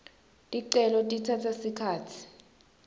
ticelo titsatsa sikhatsi